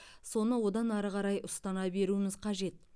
соны одан ары қарай ұстана беруіміз қажет